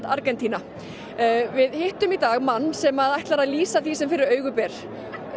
Argentína við hittum í dag mann sem ætlar að lýsa því sem fyrir augu ber